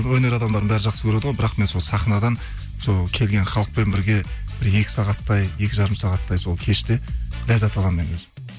өнер адамдарының бәрі жақсы көреді ғой бірақ мен сол сахнадан сол келген халықпен бірге бір екі сағаттай екі жарым сағаттай сол кеште ләззат аламын мен өзім